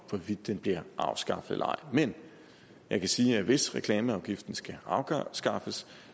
hvorvidt den bliver afskaffet eller ej men jeg kan sige at hvis reklameafgiften skal afskaffes